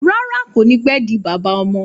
Rárá, kò ní pé di bàbá ọmọ